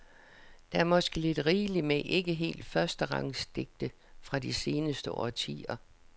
Der er måske lidt rigeligt med ikke helt førsterangs digte fra de seneste årtier.